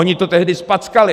Oni to tehdy zpackali.